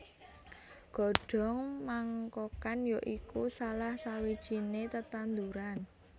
Godhong Mangkokan ya iku salah sawijiné tetanduran